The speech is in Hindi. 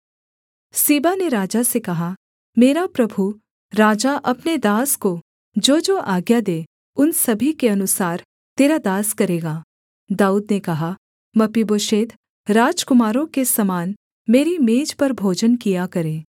सीबा ने राजा से कहा मेरा प्रभु राजा अपने दास को जोजो आज्ञा दे उन सभी के अनुसार तेरा दास करेगा दाऊद ने कहा मपीबोशेत राजकुमारों के समान मेरी मेज पर भोजन किया करे